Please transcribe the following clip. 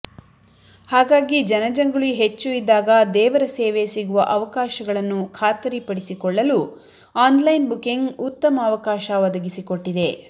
ಹಾಗಾಗಿ ಜನಜಂಗುಳಿ ಹೆಚ್ಚು ಇದ್ದಾಗ ದೇವರ ಸೇವೆ ಸಿಗುವ ಅವಕಾಶಗಳನ್ನು ಖಾತರಿಪಡಿಸಿಕೊಳ್ಳಲು ಆನ್ಲೈನ್ ಬುಕಿಂಗ್ ಉತ್ತಮ ಅವಕಾಶ ಒದಗಿಸಿಕೊಟ್ಟಿದೆ